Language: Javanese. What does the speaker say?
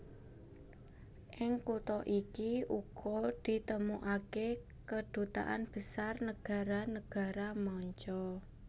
Ing kutha iki uga ditemokaké kedutaan besar nagara nagara manca